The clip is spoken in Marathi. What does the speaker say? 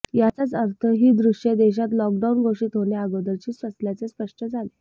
याचाच अर्थ ही द्श्ये देशात लॉकडाऊन घोषित होण्याअगोदरची असल्याचे स्पष्ट झाले